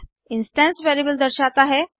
instance variable दर्शाते है